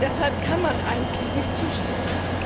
Deshalb kann man eigentlich nicht zustimmen.